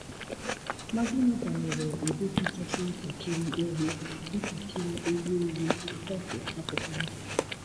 Ma gịnị banyere ụdị kachasị ntakịrị ewu ntakịrị ewu ewu, kọfị akwụkwọ ndụ?